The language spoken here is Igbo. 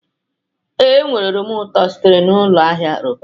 Ee, enwere oroma ụtọ sitere na Ụlọ Ahịa Roban